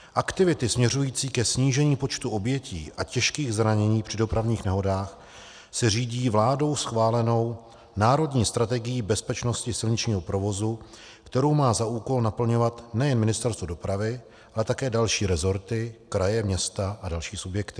Aktivita směřující ke snížení počtu obětí a těžkých zranění při dopravních nehodách se řídí vládou schválenou Národní strategií bezpečnosti silničního provozu, kterou má za úkol naplňovat nejen Ministerstvo dopravy, ale také další rezorty, kraje, města a další subjekty.